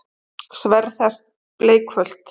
Sverð þess bleikfölt.